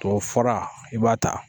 Tubabufura i b'a ta